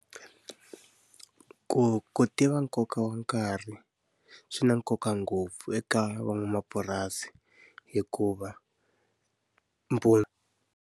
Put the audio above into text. Ku ku tiva nkoka wa nkarhi, swi na nkoka ngopfu eka van'wamapurasi hikuva .